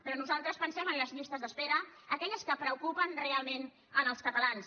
però nosaltres pensem en les llistes d’espera aquelles que preocupen realment als catalans